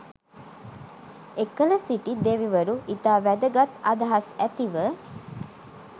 එකල සිටි දෙවිවරු ඉතා වැදගත් අදහස් ඇතිව